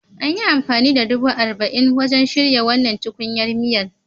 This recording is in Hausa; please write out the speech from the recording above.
An yi amfani da dubu arba'in wajen shirya wannan tukunyar miya.